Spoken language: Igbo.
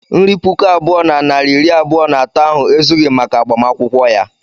Nri puku abụọ na narị iri abụọ na atọ ahụ ezughị maka agbamakwụkwọ ya.